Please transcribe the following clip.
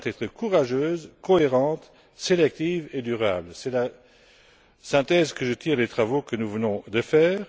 Elle doit être courageuse, cohérente, sélective et durable. C'est la synthèse que je tire des travaux que nous venons de réaliser.